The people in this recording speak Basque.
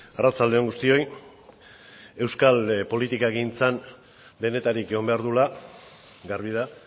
arratsalde on guztioi euskal politikagintzan denetarik egon behar duela garbi da